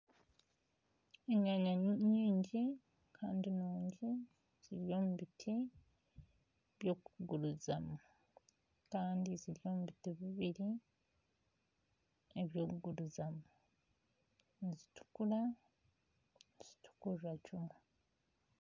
Enyanya nyingi kandi nungi ziri omu biti by'okugurizaho kandi ziri omu biti bibiri eby'okugurizamu nizitukura nizitukurira kimwe